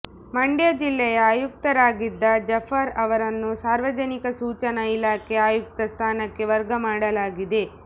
ಮಂಡ್ಯ ಜಿಲ್ಲೆಯ ಆಯುಕ್ತರಾಗಿದ್ದ ಜಾಫರ್ ಅವರನ್ನು ಸಾರ್ವಜನಿಕ ಸೂಚನಾ ಇಲಾಖೆ ಆಯುಕ್ತ ಸ್ಥಾನಕ್ಕೆ ವರ್ಗ ಮಾಡಲಾಗಿದೆ